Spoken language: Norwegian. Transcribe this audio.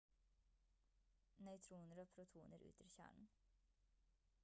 nøytroner og protoner utgjør kjernen